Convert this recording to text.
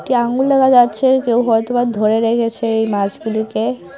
একটি আঙ্গুল দেখা যাচ্ছে কেউ হয়তো বা ধরে দাঁড়িয়ে আছে এই মাছগুলিকে।